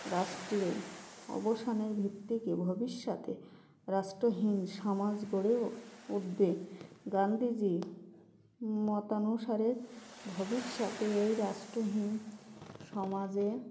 রাষ্ট্রে অবসানের ভিত্তিকে ভবিষ্যতে রাষ্ট্রহীন সমাজ গড়ে উঠবে গান্ধীজীর মতানুসারে ভবিষ্যতে এই রাষ্ট্রহীন সমাজে